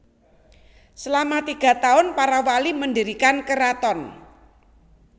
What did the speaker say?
Selama tiga tahun para Wali mendirikan Keraton